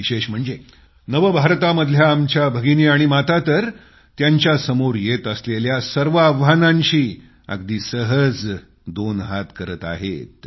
विशेष म्हणजे नवभारतामधल्या आमच्या भगिनी आणि माता तर त्यांच्यासमोर येत असलेल्या सर्व आव्हानांशी अगदी सहज दोन हात करताहेत